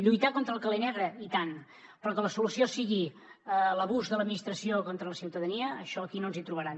lluitar contra el calé negre i tant però que la solució sigui l’abús de l’administració contra la ciutadania en això aquí no ens hi trobaran